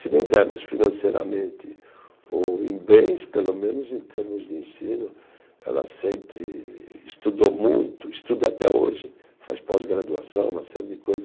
Se não dermos financeiramente ou em bens, pelo menos em termos de ensino, ela sempre estudou muito, estuda até hoje, faz pós-graduação, uma série de coisas.